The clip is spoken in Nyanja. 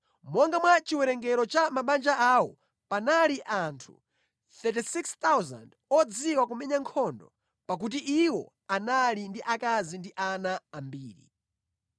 Monga mwa chiwerengero cha mabanja awo, panali anthu 36,000 odziwa kumenya nkhondo, pakuti iwo anali ndi akazi ndi ana ambiri.